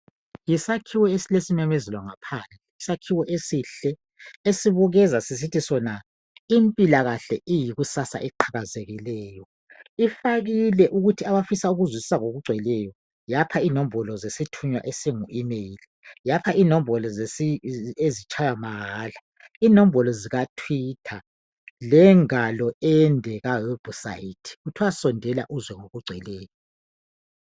Isakhiwo esilesimemezelo ngaphandle, isakhiwo esihle, esibukeza sisithi sona impilakahle iyikusasa eqhakazekileyo. Ifakile ukuthi abafisa ukuzwisisa ngokugcweleyo, yapha inombolo zesithunywa esingu Imeyili. Yapha inombolo ezitshaywa mahala ,inombolo zikaThwitha, lengalo ende kawebhusayithi . Kuthiwa sondela uzwe ngokugcweleyo.